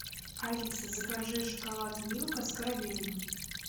алиса закажи шоколад милка с карамелью